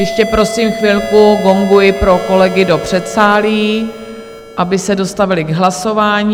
Ještě prosím chvilku, gonguji pro kolegy do předsálí, aby se dostavili k hlasování.